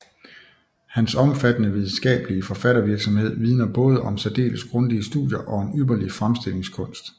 Hans omfattende videnskabelige forfattervirksomhed vidner både om særdeles grundige studier og en ypperlig fremstillingskunst